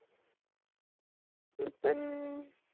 मि पण